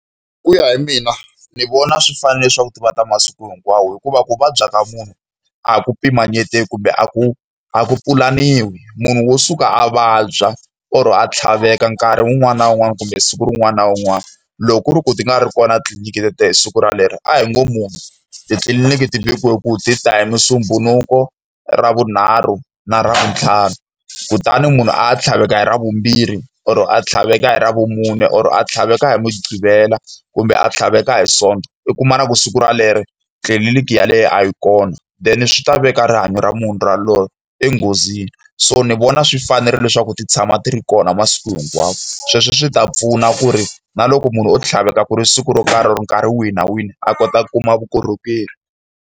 Hi ku ya hi mina, ni vona swi fanerile leswaku va ta masiku hinkwawo hikuva ku vabya ka munhu a ku pimanyeteki kumbe a ku a ku pulaniwi, munhu wo suka a vabya or-o a tlhaveka nkarhi wun'wani na wun'wani kumbe siku rin'wana na un'wana. Loko ku ri ku ti nga ri kona tliliniki hi siku relero, a hi ngo munhu titliliniki ti vekiwe ku ti ta hi Musumbhunuku, Ravunharhu na Ravuntlhanu. Kutani munhu a ya tlhaveka hi Ravumbirhi, or a tlhaveka hi Ravumune, or a tlhaveka hi Mugqivela, kumbe a tlhaveke hi Sonto, u kuma na ku siku rolero tliliniki yaleyo a yi kona. Then swi ta veka rihanyo ra munhu yaloye enghozini. So ni vona swi fanerile leswaku ti tshama ti ri kona masiku hinkwawo. Sweswo swi ta pfuna ku ri na loko munhu o tlhaveka ku ri siku ro karhi or nkarhi wihi na wihi, a kota ku kuma vukorhokeri.